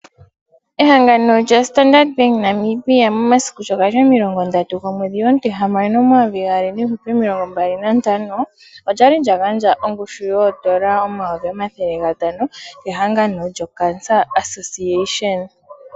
Ehangano lya Standard Bank Namibia momasiku sho gali omilongo ndatu gomwedhi omuti hamano omayovi gaali niihupe omilongo mbali nantano, olyali lya gandja ongushu yoodola omayovi omathele gatano kehangano lyo cancer association.